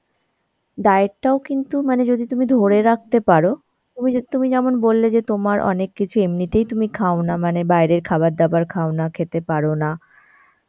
diet টাও কিন্তু মানে যদি তুমি ধরে রাখতে পারো তুমি যদি তুমি যেমন বললে যে তোমার অনেক কিছু এমনিতেই তুমি খাও না, মানে বাইরের খাবার দাবার খাওনা, খেতে পারো না